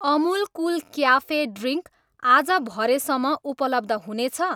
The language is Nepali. अमुल कुल क्याफे ड्रिङ्क आज भरे सम्म उपलब्ध हुनेछ?